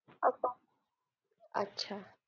असं अच्छा.